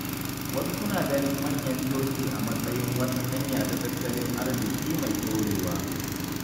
Wasu suna ganin manyan coci a matsayin wata hanya ta tattalin arziƙi mai ɗorewa.